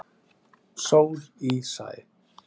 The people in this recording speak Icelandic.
Sól í sæ.